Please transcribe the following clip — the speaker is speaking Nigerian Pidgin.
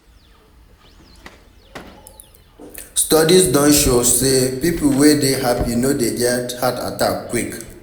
Studies don show sey pipo wey de dey happy no dey get heart attack quick